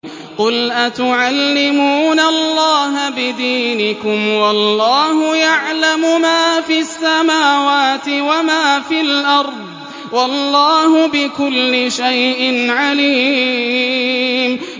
قُلْ أَتُعَلِّمُونَ اللَّهَ بِدِينِكُمْ وَاللَّهُ يَعْلَمُ مَا فِي السَّمَاوَاتِ وَمَا فِي الْأَرْضِ ۚ وَاللَّهُ بِكُلِّ شَيْءٍ عَلِيمٌ